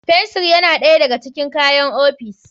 Fensir yana ɗaya daga cikin kayan ofis.